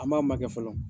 An b'a makɛ fɔlɔ